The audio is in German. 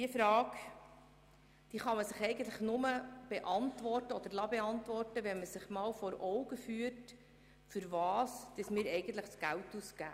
Diese Frage kann man nur beantworten, wenn man sich einmal vor Augen führt, wofür wir eigentlich das Geld ausgeben.